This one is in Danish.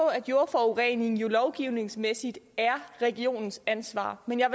af jordforurening lovgivningsmæssigt er regionens ansvar men jeg